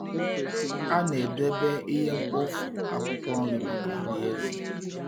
A na-edebe ihe mkpofu akwụkwọ nri maka nri ezì.